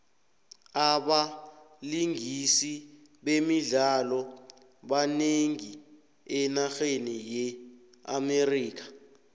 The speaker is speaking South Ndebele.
abalingisi bemidlalo banengi enarheni ye amerika